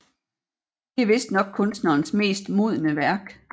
Det er vistnok kunstnerens mest modne værk